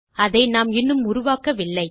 அதை நாம் இன்னும் உருவாக்கவில்லை